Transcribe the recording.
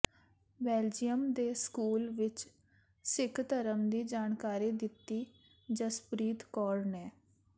Belgium ਦੇ school ਵਿਚ ਸਿੱਖ ਧਰਮ ਦੀ ਜਾਣਕਾਰੀ ਦਿਤੀ ਜਸਪ੍ਰੀਤ ਕੌਰ ਨੇ